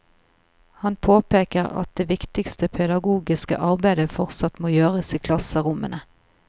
Han påpeker at det viktigste pedagogiske arbeidet fortsatt må gjøres i klasserommene.